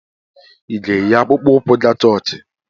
Ị ga-eyi akpụkpọ ụkwụ ga chọọchị?